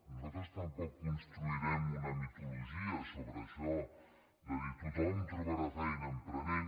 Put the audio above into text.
nosaltres tampoc construirem una mitologia sobre això de dir tothom trobarà feina emprenent